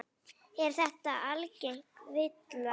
Er þetta algeng villa.